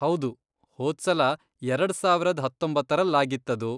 ಹೌದು, ಹೋದ್ಸಲ ಎರಡ್ ಸಾವರದ್ ಹತ್ತೊಂಬತ್ತರಲ್ಲಾಗಿತ್ತದು.